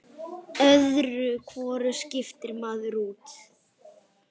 Öðru hvoru skiptir maður út.